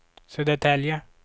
Södertälje